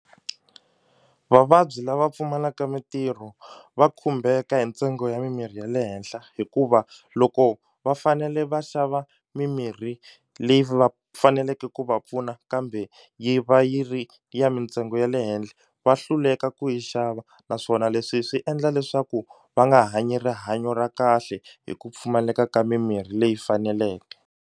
Vavabyi lava pfumalaka mitirho va khumbeka hi ntsengo ya mimirhi ya le henhla hikuva loko va fanele va xava mimirhi leyi va faneleke ku va pfuna na kambe yi va yi ri ya mintsengo ya le henhla va hluleka ku yi xava naswona leswi swi endla leswaku va nga hanyi rihanyo ra kahle hi ku pfumaleka ka mimirhi leyi faneleke.